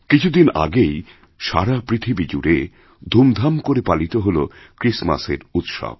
কিছুদিন আগেই সারা পৃথিবী জুড়ে ধুমধাম করে পালিত হলক্রিসমাসের উৎসব